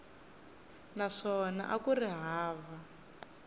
naswona a ku ri hava